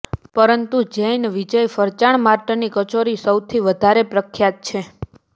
પરંતુ જૈન વિજય ફરસાણ માર્ટની કચોરી સૌથી વધારે પ્રખ્યાત છે